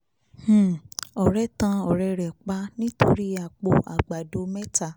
um ọ̀rẹ́ tan ọ̀rẹ́ rẹ̀ pa nítorí àpò ààgbàdo mẹ́ta